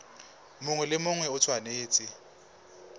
mongwe le mongwe o tshwanetse